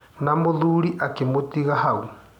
Na mũthuri akĩmũtiga hau.